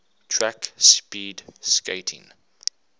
track speed skating